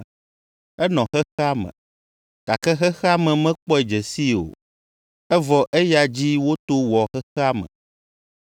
Enɔ xexea me, gake xexea me mekpɔe dze sii o, evɔ eya dzi woto wɔ xexea me.